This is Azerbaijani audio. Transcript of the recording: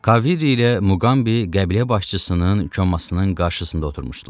Kaviri ilə Muqambi qəbilə başçısının komasının qarşısında oturmuşdular.